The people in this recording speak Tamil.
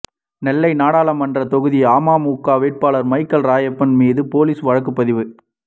நெல்லை நாடாளுமன்ற தொகுதி அமமுக வேட்பாளர் மைக்கேல் ராயப்பன் மீது போலீஸ் வழக்குப்பதிவு